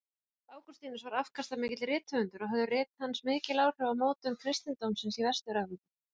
Ágústínus var afkastamikill rithöfundur og höfðu rit hans mikil áhrif á mótun kristindómsins í Vestur-Evrópu.